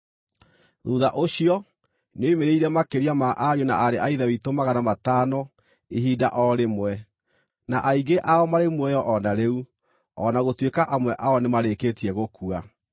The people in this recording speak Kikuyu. Thuutha ũcio, nĩoimĩrĩire makĩria ma ariũ na aarĩ a Ithe witũ magana matano ihinda o rĩmwe, na aingĩ ao marĩ muoyo o na rĩu, o na gũtuĩka amwe ao nĩmarĩkĩtie gũkua.